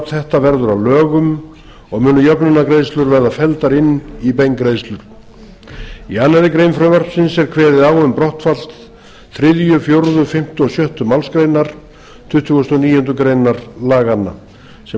þetta verður að lögum og munu jöfnunargreiðslur verða felldar inn í beingreiðslur í annarri grein frumvarpsins er kveðið á um brottfall þriðji fjórði fimmti og sjöttu málsgrein tuttugustu og níundu grein laganna sem